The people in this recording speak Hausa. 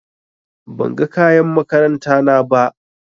Ban ga kayan makaranta na ba.